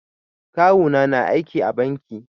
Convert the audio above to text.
Kawu na na aiki a banki